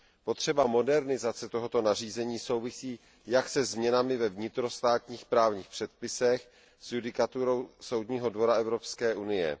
Potřeba modernizace tohoto nařízení souvisí jak se změnami ve vnitrostátních právních předpisech, tak s judikaturou Soudního dvora Evropské unie.